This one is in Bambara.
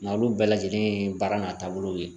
Nga olu bɛɛ lajɛlen ye baara n'a taabolow ye